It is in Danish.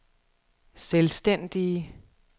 selvstændige